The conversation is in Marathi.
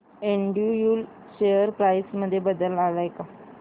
एंड्रयू यूल शेअर प्राइस मध्ये बदल आलाय का